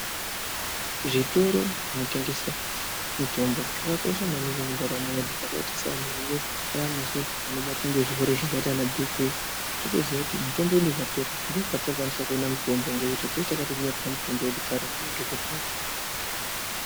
Zvitoro zvinotengesa mitombo zvakakosha maningi mundaramo yedu zvakaita sevanhu isusu vanobatwa ngezirwere zvakaita ana bhiphii totoziya kuti mitombo yedu ikapera ndokwatinokwanisa koona mitombo ngekuti tinenge takatonyorerwa mitombo yedu kare ngemadhokodheya.